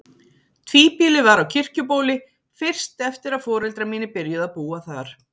Tvíbýli var á Kirkjubóli fyrst eftir að foreldrar mínir byrjuðu að búa þar.